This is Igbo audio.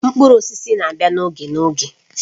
Mkpụrụ osisi na-abịa n'oge n'oge